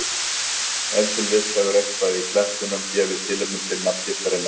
Ef til vill hefur eitthvað í klettunum gefið tilefni til nafngiftarinnar.